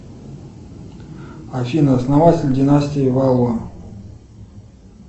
афина основатель династии валуа